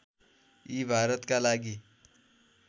यी भारतका लागि